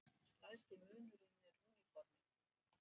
Stærsti munurinn er úniformið.